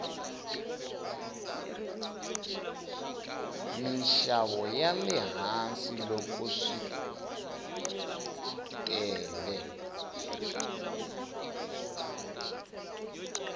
minxavo yale hansi loko wsitele